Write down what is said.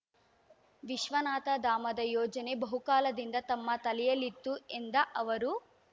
ವಿಶ್ವನಾಥ ಧಾಮದ ಯೋಜನೆ ಬಹುಕಾಲದಿಂದ ತಮ್ಮ ತಲೆಯಲ್ಲಿತ್ತು ಎಂದ ಅವರು